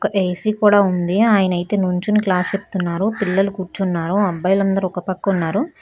ఒక ఏసి కూడా ఉంది ఆయనైతే నుంచొనీ క్లాస్ చెప్తున్నారు పిల్లలు కూర్చున్నారు అబ్బాయిలందరూ ఒకపక్కున్నారు.